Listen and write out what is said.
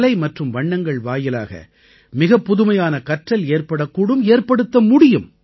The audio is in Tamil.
கலை மற்றும் வண்ணங்கள் வாயிலாக மிகப் புதுமையான கற்றல் ஏற்படக்கூடும் ஏற்படுத்த முடியும்